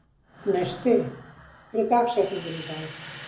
Gneisti, hver er dagsetningin í dag?